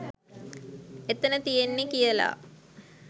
එතන තියෙන්නේ කියල.